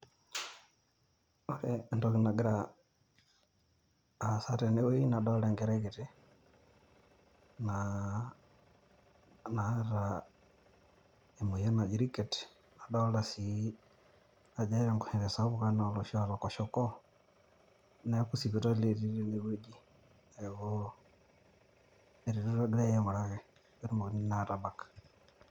Ore entoki nagira aasa tene weuji nadaalta Enkerai kiti naata emoyian naji Ricket adoolta sii ajo eeta Enkoshoke sapuk enaa oloshi oota kwashiorkor neeku sipitali etii tene wueji neeku eretoto egairae aing'uraki pee etumokini naa aatabak.